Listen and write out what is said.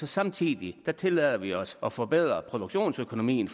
samtidig tillader vi os at forbedre produktionsøkonomien